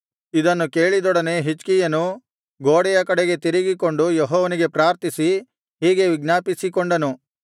ಇದನ್ನು ಕೇಳಿದೊಡನೆ ಹಿಜ್ಕೀಯನು ಗೋಡೆಯ ಕಡೆಗೆ ತಿರುಗಿಕೊಂಡು ಯೆಹೋವನಿಗೆ ಪ್ರಾರ್ಥಿಸಿ ಹೀಗೆ ವಿಜ್ಞಾಪಿಸಿಕೊಂಡನು